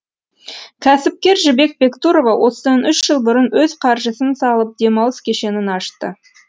кәсіпкер жібек бектұрова осыдан үш жыл бұрын өз қаржысын салып демалыс кешенін ашты